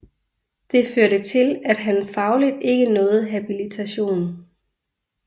Det førte til at han fagligt ikke nåede habilitation